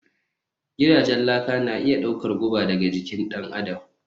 Gidajen laka na iya ɗaukar guba daga jikin ɗan adam